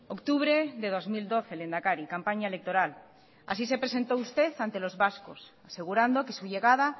octubre de dos mil doce el lehendakari campaña electoral así se presentó usted ante los vascos asegurando que su llegada